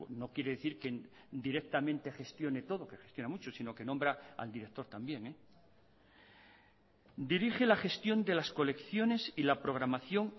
no quiere decir que directamente gestione todo que gestiona mucho sino que nombra al director también dirige la gestión de las colecciones y la programación